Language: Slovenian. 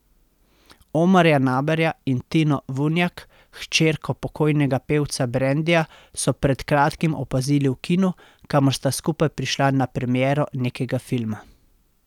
Omarja Naberja in Tino Vunjak, hčerko pokojnega pevca Brendija, so pred kratkim opazili v kinu, kamor sta skupaj prišla na premiero nekega filma.